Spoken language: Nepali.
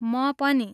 म पनि।